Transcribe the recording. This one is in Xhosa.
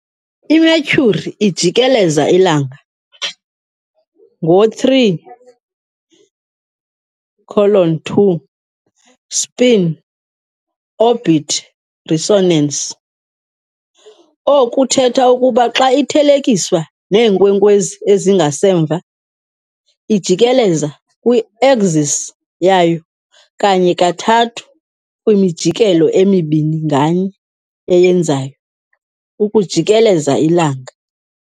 I-Mercury ijikeleza iLanga ngo-3:2 spin-orbit resonance, okuthetha ukuba xa ithelekiswa neenkwenkwezi ezingasemva, ijikeleza kwi-axis yayo kanye kathathu kwimijikelo emibini nganye eyenzayo ukujikeleza iLanga.